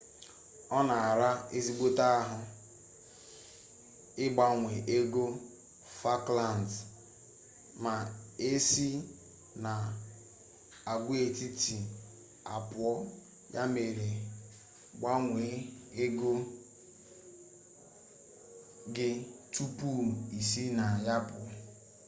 ọ na-ara ezigbote ahụ ịgbanwe ego falklands ma e si n'agwaetiti a pụọ ya mere gbanwee ego gi tupu i si na ya pụọ